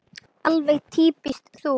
Alveg týpískt þú.